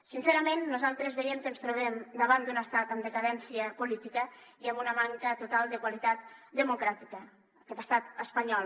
sincerament nosaltres veiem que ens trobem davant d’un estat en decadència política i amb una manca total de qualitat democràtica aquest estat espanyol